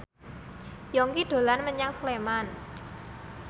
Yongki dolan menyang Sleman